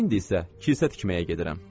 İndi isə kilsə tikməyə gedirəm.